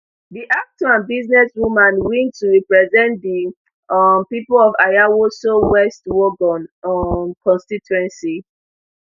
di actor and businessman win to represent di um pipo of ayawaso west wuogon um constituency